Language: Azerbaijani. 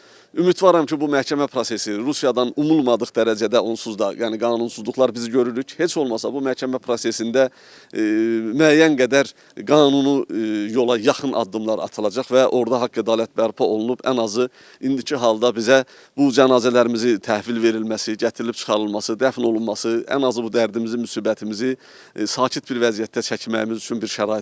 Ümidvaram ki, bu məhkəmə prosesi Rusiyadan umulmadıq dərəcədə onsuz da, yəni qanunsuzluqlar bizi görürük, heç olmasa bu məhkəmə prosesində müəyyən qədər qanunu yola yaxın addımlar atılacaq və orada haqq-ədalət bərpa olunub, ən azı indiki halda bizə bu cənazələrimizi təhvil verilməsi, gətirilib çıxarılması, dəfn olunması, ən azı bu dərdimizi, müsibətimizi sakit bir vəziyyətdə çəkməyimiz üçün bir şərait yaradılacaq.